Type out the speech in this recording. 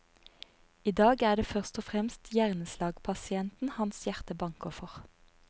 I dag er det først og fremst hjerneslagpasienten hans hjerte banker for.